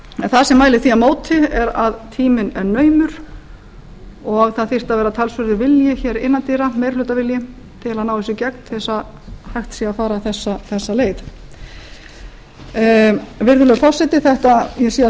en það sem mælir því á móti er að tíminn er naumur og það þyrfti að vera talsverður vilji innan dyra meirihlutavilji til að ná þessu í gegn til að hægt sé að fara þessa leið virðulegi forseti ég sé að tími